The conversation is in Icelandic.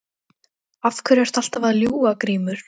Af hverju ertu alltaf að ljúga Grímur?